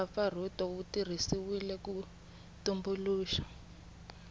mpfapfarhuto wu tirhisiwile ku tumbuluxa